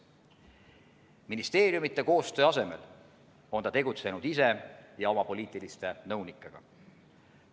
Ministeeriumide koostöö asemel on ta tegutsenud ise ja koos oma poliitiliste nõunikega.